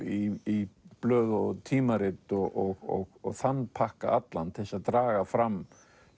í blöð og tímarit og þann pakka allan til að draga fram